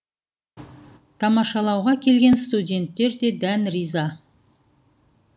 тамашалауға келген студенттер де дән риза